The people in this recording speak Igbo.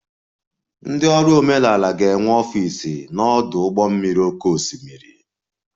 Ndị ọrụ omenala ga-enwe ọfịs n'ọdụ ụgbọ mmiri oké osimiri